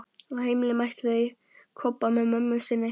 Á heimleiðinni mættu þau Kobba með mömmu sinni.